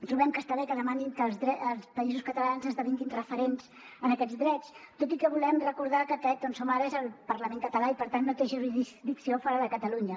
trobem que està bé que demanin que els països catalans esdevinguin referents en aquests drets tot i que volem recordar que aquest on som ara és el parlament català i per tant no té jurisdicció fora de catalunya